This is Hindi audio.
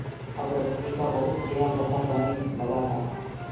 अब रश्मि का बहुत ख्याल रखा जाने लगा था